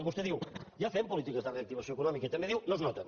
vostè diu ja fem polítiques de reactivació econòmica també diu no es noten